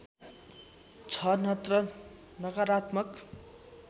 छ नत्र नकारात्मक